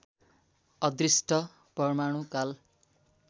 अदृष्ट परमाणु काल